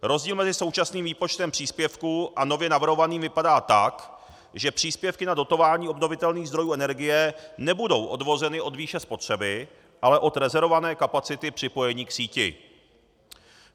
Rozdíl mezi současným výpočtem příspěvku a nově navrhovaným vypadá tak, že příspěvky na dotování obnovitelných zdrojů energie nebudou odvozeny od výše spotřeby, ale od rezervované kapacity připojení k síti.